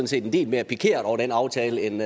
set en del mere pikerede over den aftale end